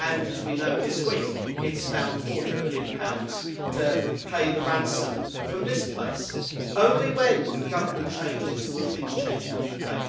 And, as we know, this week it has found GBP 40 billion to pay the ransom from this place. Only when the government changes will things change in the UK.